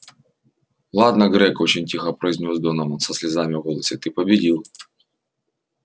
ладно грег очень тихо произнёс донован со слезами в голосе ты победил